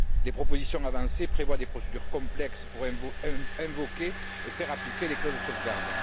Les propositions avancées prévoient des procédures complexes pour invoquer et faire appliquer les clauses de sauvegarde.